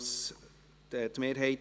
GSoK-Mehrheit